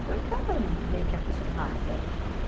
Então eu já estava meio que acostumada.